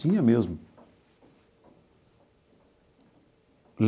Tinha mesmo.